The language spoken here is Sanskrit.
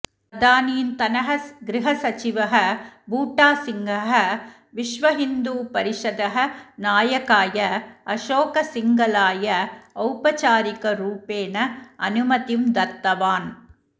तदानीन्तनः गृहसचिवः बूटासिंहः विश्वहिन्दूपरिषदः नायकाय अशोकसिङ्घलाय औपचारिकरूपेण अनुमतिं दत्तवान्